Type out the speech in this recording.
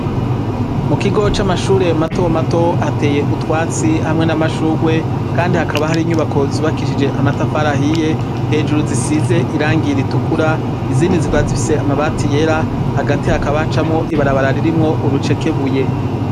Mu kigo c'amashure mato mato hateye utwatsi hamwe n'amashurwe, kandi hakaba hari inyubako zubakishije amatafarahiye hejuru zisize irangiye ritukura izindi zikora zifise amabati yera hagati hakaba hacamwo ibarabara ririmwo urucekebuye.